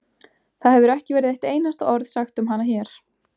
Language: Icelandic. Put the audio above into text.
Það hefur ekki verið eitt einasta orð sagt um hana hér.